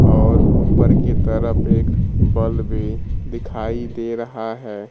और ऊपर की तरफ एक बल्ब भी दिखाई दे रहा है।